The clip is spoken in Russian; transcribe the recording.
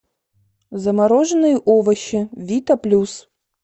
замороженные овощи вита плюс